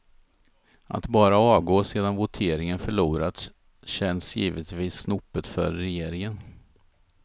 Att bara avgå sedan voteringen förlorats känns givetvis snopet för regeringen.